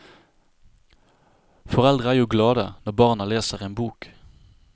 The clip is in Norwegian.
Foreldre er jo glade når barna leser en bok.